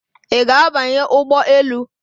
Ị ga-abanye ụgbọ elu?